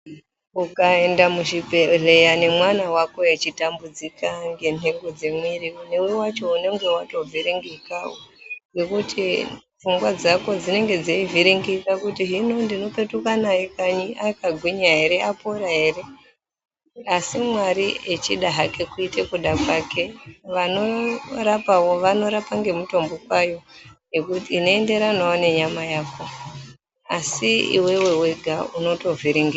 Ukaenda muchibhehleya nemwana wako echitambudzika ngenhengo dzemwiri newewacho unenge watovhiringikawo ngekuti pfungwa dzako dzinonga dzeivhiringika kuti hino ndinopetuka naye kanyi akagwinya ere apona ere asi Mwari echida hake kuite kuda kwake vanorapawo vanorapa ngemitombo kwayo inoenderana nenyama yako asi iwewe wega unotovhiringika.